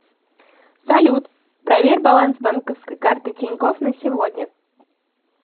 салют проверь баланс банковской карты тинькофф на сегодня